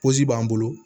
b'an bolo